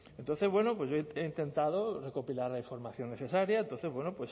entonces bueno yo he intentado recopilar la información necesaria entonces